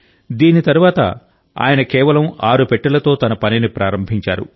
దీని తరువాత ఆయన కేవలం ఆరు పెట్టెలతో తన పనిని ప్రారంభించారు